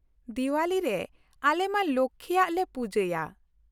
ᱫᱤᱣᱟᱞᱤ ᱨᱮ ᱟᱞᱮ ᱢᱟ ᱞᱚᱠᱽᱠᱷᱤ ᱭᱟᱜ ᱞᱮ ᱯᱩᱡᱟᱹᱭᱟ ᱾